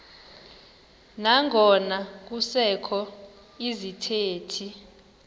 nangona kusekho izithethi